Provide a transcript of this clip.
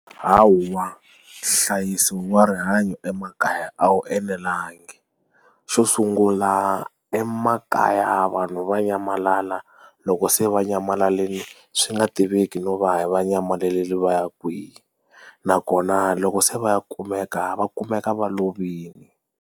hawa nhlayiso wa rihanyo emakaya a wu enelanga xo sungula emakaya vanhu va nyamalala loko se va nyamalalini swi swi nga tiveki no va va nyamalarile va ya kwihi nakona loko se va ya kumeka va kumeka va lovile.